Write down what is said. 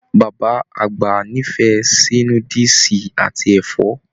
Bàbá àgbà n'ifẹ sí núdúsí àti ẹfọ.